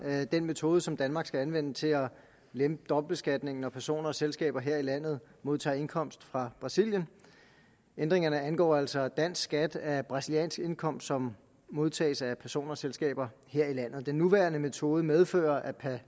den metode som danmark skal anvende til at lempe dobbeltbeskatningen når personer og selskaber her i landet modtager indkomst fra brasilien ændringerne angår altså dansk skat af brasiliansk indkomst som modtages af personer og selskaber her i landet den nuværende metode medfører at